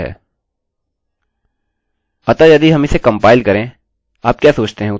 अतःयदि हम इसे कंपाइल करें आप क्या सोचते हैं उत्तर क्या होगा